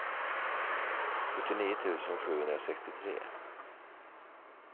sjuttionio tusen sjuhundrasextiotre